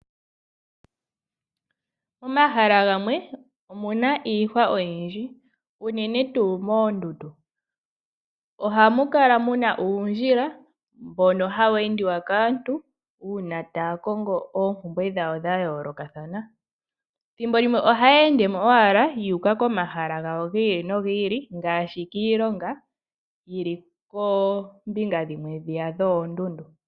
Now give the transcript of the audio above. Momahala gamwe omuna iihwa oyindji unene tuu moondundu. Oha mu kala muna uundjila mbono hawu endiwa kaantu una taya kongo oompumbwe dhawo dhayoolokathana. Thimbo limwe ohaya ende mo owala yu uka komahala gawo giili nogiili nenge kiilongo yili koombinga dhimwe dhiya dhoondundu.